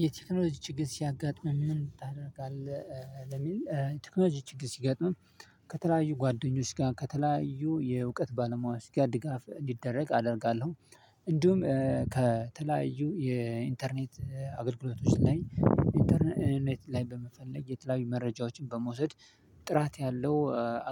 የቴክኖሎጂ ችግር ሲያጋጥምም ምን ታደርጋለህ? ለሚል የቴክኖሎጂ ችግር ሲያጋጥምም ከተለያዩ ጓደኞች ጋር ከተለያዩ የእውቀት ባለሙያ ጋር ድጋፍ እንዲደረግ አደርጋለሁ። እንዲሁም ከተለያዩ የኢንተርኔት አገልግሎቶች ላይ ኢንተርኔት ላይ በመፈለግ የተለያዩ መረጃዎችን በመውሰድ ጥራት ያለው